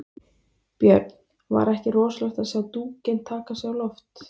Björn: Var ekki rosalegt að sjá dúkinn taka sig á loft?